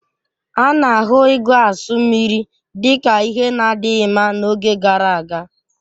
A na-ahụ ịgu asụ mmiri dị ka ihe na-adịghị mma n'oge gara aga